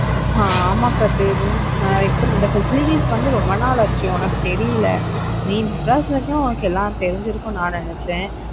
அஹ் ஆமா கதிர் நான் இப்ப இந்த facilities வந்து ரொம்ப நாள் ஆச்சு உனக்கு தெரியல. நீ மெட்ராஸ்ல இருக்க உனக்கு எல்லாம் தெரிஞ்சிருக்கும்னு நான் நினைச்சேன்.